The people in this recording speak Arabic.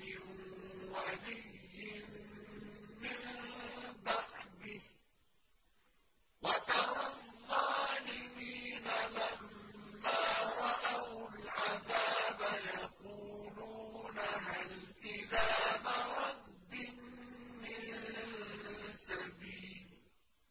مِن وَلِيٍّ مِّن بَعْدِهِ ۗ وَتَرَى الظَّالِمِينَ لَمَّا رَأَوُا الْعَذَابَ يَقُولُونَ هَلْ إِلَىٰ مَرَدٍّ مِّن سَبِيلٍ